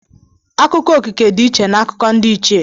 Akụkọ okike dị iche n'akụkọ ndị Ichie.